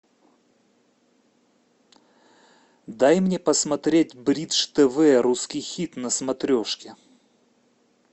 дай мне посмотреть бридж тв русский хит на смотрешке